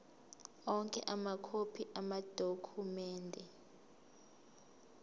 onke amakhophi amadokhumende